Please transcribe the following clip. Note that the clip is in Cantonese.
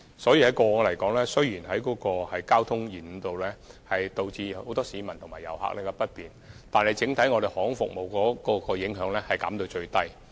所以，雖然過往也曾出現交通延誤，導致很多市民及遊客感到不便，但整體而言，航空服務受到的影響都能盡量減到最低。